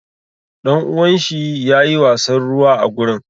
Ɗanuwan shi yayi wasan ruwa a gurin.